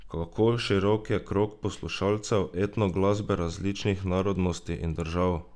Kako širok je krog poslušalcev etno glasbe različnih narodnosti in držav?